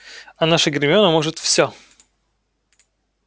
а наша гермиона может все